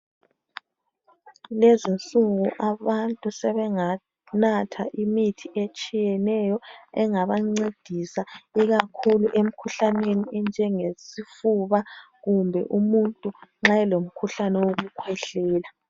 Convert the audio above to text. Kulezi insuku abantu sebanganatha imithi etshiyeneyo engabancedisa ikakhulu emikhuhlaneni enjengesifuba kumbe umuntu nxa elomkhuhlane wokukhwehlela.